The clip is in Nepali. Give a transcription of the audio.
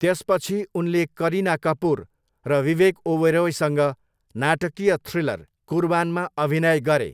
त्यसपछि उनले करिना कपुर र विवेक ओबेरोईसँग नाटकीय थ्रिलर कुर्बानमा अभिनय गरे।